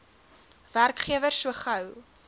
werkgewer so gou